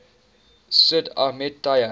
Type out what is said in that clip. sid ahmed taya